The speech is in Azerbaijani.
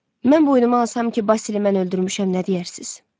Mən boynuma alsam ki, Basili mən öldürmüşəm, nə deyərsiz?